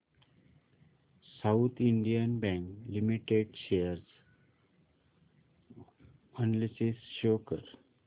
south Indian bank limited share analysis show कर